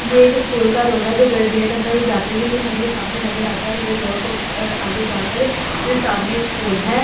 ये एक स्कूल का रोड है जो गेट अंदर जाते ही हमें सामने नज़र आता है और ये रोड को आगे जाकर फिर सामने एक स्कूल है और साइड में एक --